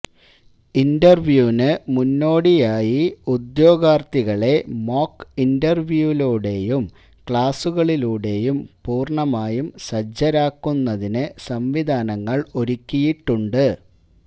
ഇന്റര്വ്യൂവിന് മുന്നോടിയായി ഉദ്യോഗാര്ഥികളെ മോക്ക് ഇന്റര്വ്യൂവിലൂടെയും ക്ളാസുകളിലൂടെയും പൂര്ണമായും സജ്ജരാക്കുന്നതിന് സംവിധാനങ്ങള് ഒരുക്കിയിട്ടുണ്ട്